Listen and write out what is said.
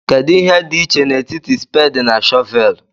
Kedu ihe dị iche n'etiti spedi na shọvelu?